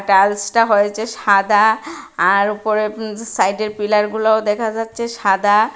টাইলসটা হয়েছে সাদা আর উপরের উম সাইডের পিলারগুলোও দেখা যাচ্ছে সাদা।